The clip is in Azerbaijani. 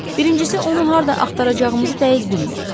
Birincisi, onu harda axtaracağımızı dəqiq bilmirik.